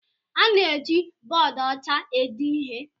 A na-eji bọọdụ ọcha ede ihe.